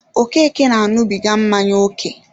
Okeke na añubiga mmanya ókè